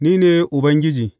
Ni ne Ubangiji.